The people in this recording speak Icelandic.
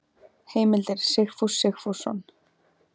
Heimildir Sigfús Sigfússon.